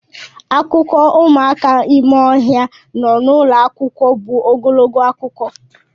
Akụkọ ụmụaka ime ohia nọ n'ụlọ akwụkwọ bụ ogologo akụkọ.